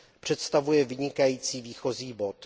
Představuje vynikající výchozí bod.